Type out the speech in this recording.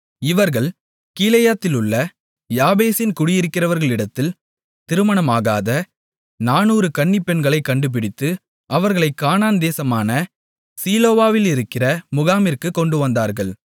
இவர்கள் கீலேயாத்திலுள்ள யாபேசின் குடியிருக்கிறவர்களிடத்தில் திருமணமாகாத 400 கன்னிப்பெண்களைக் கண்டுபிடித்து அவர்களைக் கானான்தேசமான சீலோவிலிருக்கிற முகாமிற்கு கொண்டுவந்தார்கள்